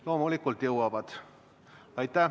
Loomulikult jõuavad.